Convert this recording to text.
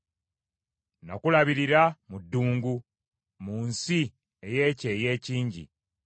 Nakulabirira mu ddungu, mu nsi ey’ekyeya ekingi.